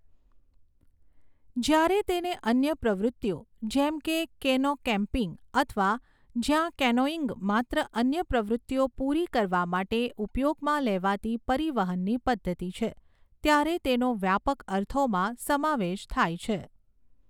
જ્યારે તેને અન્ય પ્રવૃત્તિઓ જેમ કે કેનો કેમ્પિંગ અથવા જ્યાં કેનોઇંગ માત્ર અન્ય પ્રવૃત્તિઓ પૂરી કરવા માટે ઉપયોગમાં લેવાતી પરિવહનની પદ્ધતિ છે, ત્યારે તેનો વ્યાપક અર્થોમાં સમાવેશ થાય છે.